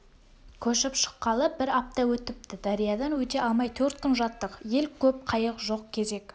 көшіп шыққалы бір апта өтіпті дариядан өте алмай төрт күн жаттық ел көп қайық жоқ кезек